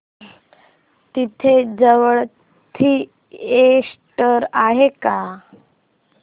इथे जवळ थिएटर आहे का